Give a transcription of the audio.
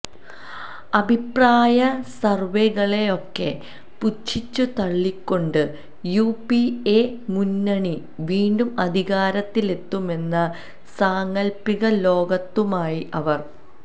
അഭിപ്രായ സര്വെകളെയൊക്കെ പുച്ഛിച്ചു തള്ളിക്കൊണ്ട് യുപിഎ മുന്നണി വീണ്ടും അധികാരത്തിലെത്തുമെന്ന സാങ്കല്പ്പിക ലോകത്തുമായി അവര്